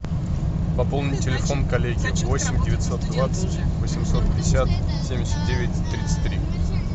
пополни телефон коллеги восемь девятьсот двадцать восемьсот пятьдесят семьдесят девять тридцать три